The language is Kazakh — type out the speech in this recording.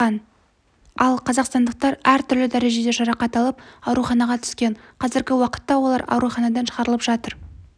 тапқан ал қазақстандықтар түрлі дәрежеде жарақат алып ауруханаға түскен қазіргі уақытта олар ауруханадан шығарылып жатыр